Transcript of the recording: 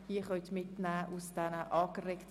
Weiter liegen drei Planungserklärungen vor.